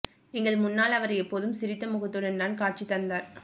எங்கள் முன்னால் அவர் எப்போதும் சிரித்த முகத்துடன் தான் காட்சி தந்தார்